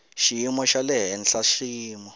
xiyimo xa le henhla swiyimo